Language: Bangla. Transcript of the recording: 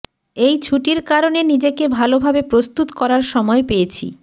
এই ছুটির কারণে নিজেকে ভালোভাবে প্রস্তুত করার সময় পেয়েছি